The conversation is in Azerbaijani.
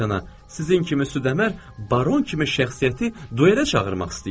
Sizin kimi südəmər baron kimi şəxsiyyəti duelə çağırmaq istəyir.